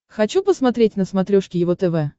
хочу посмотреть на смотрешке его тв